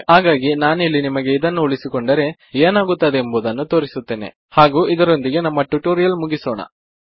ಹಾಗಾಗಿ ನಾನಿಲ್ಲಿ ನಿಮಗೆ ಇದನ್ನು ಉಳಿಸಿಕೊಂಡರೆ ಏನಾಗುತ್ತದೆ ಎಂಬುದನ್ನು ತೋರಿಸುತ್ತೇನೆ ಹಾಗು ಇದರೊಂದಿಗೆ ನಮ್ಮ ಟುಟೋರಿಯಲ್ ಮುಗಿಸೋಣ